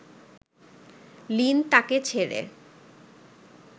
Lin তাকে ছেড়ে